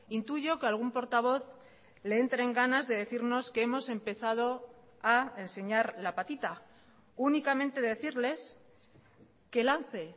intuyo que algún portavoz le entren ganas de decirnos que hemos empezado a enseñar la patita únicamente decirles que lance